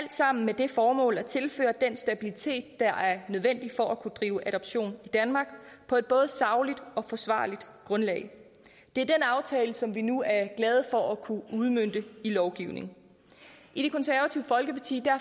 sammen med det formål at tilføre den stabilitet der er nødvendig for at kunne drive adoption i danmark på et både sagligt og forsvarligt grundlag det er den aftale som vi nu er glade for at kunne udmønte i lovgivning i det konservative folkeparti